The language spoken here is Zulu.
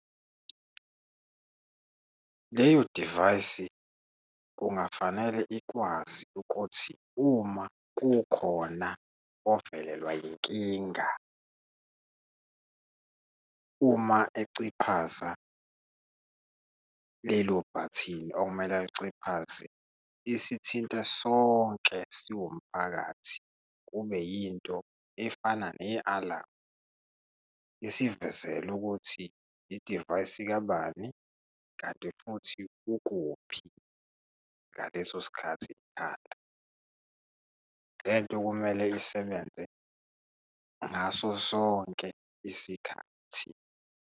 Leyo divayisi kungafanele ikwazi ukuthi uma kukhona ovelelwa yinkinga, uma eciphaza lelo bhathini okumele aliciphaze, isithintile sonke siwumphakathi, kube yinto efana ne-alamu. Isivezele ukuthi idivayisi kabani, kanti futhi ukuphi ngaleso sikhathi ikhala. Lento kumele isebenze ngaso sonke isikhathi.